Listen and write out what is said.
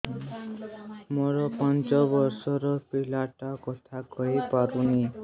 ମୋର ପାଞ୍ଚ ଵର୍ଷ ର ପିଲା ଟା କଥା କହି ପାରୁନି